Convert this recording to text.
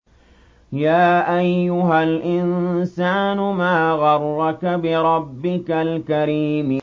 يَا أَيُّهَا الْإِنسَانُ مَا غَرَّكَ بِرَبِّكَ الْكَرِيمِ